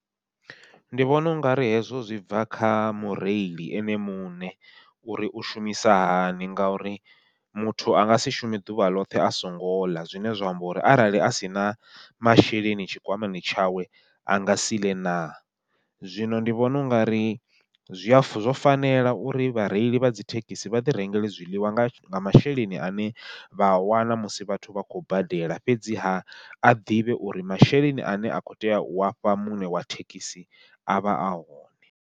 Ndi vhona ungari hezwo zwi bva kha mureili ene muṋe, uri u shumisa hani ngauri muthu anga si shume ḓuvha ḽoṱhe a songo ḽa, zwine zwa amba uri arali a sina masheleni tshikwamani tshawe anga si ḽe na. Zwino ndi vhona unga ri zwi a fa zwo fanela uri vhareili vha dzithekhisi vha ḓi rengela zwiḽiwa nga masheleni ane vha a wana musi vhathu vha khou badela, fhedzi ha a ḓivhe uri masheleni ane a kho tea ua fha muṋe wa thekhisi avha a hone.